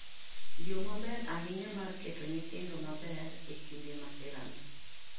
yo maber ahinya mar keto nyithindo maber e kinde masira ni